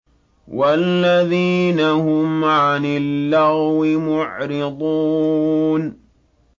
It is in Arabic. وَالَّذِينَ هُمْ عَنِ اللَّغْوِ مُعْرِضُونَ